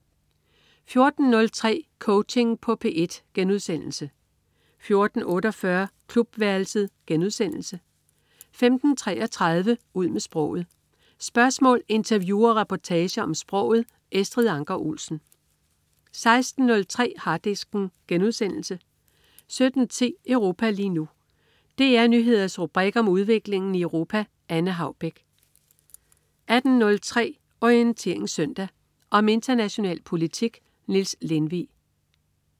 14.03 Coaching på P1* 14.48 Klubværelset* 15.33 Ud med sproget. Spørgsmål, interview og reportager om sproget. Estrid Anker Olsen 16.03 Harddisken* 17.10 Europa lige nu. DR Nyheders rubrik om udviklingen i Europa. Anne Haubek 18.03 Orientering Søndag. Om international politik. Niels Lindvig